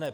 Ne.